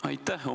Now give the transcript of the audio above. Aitäh!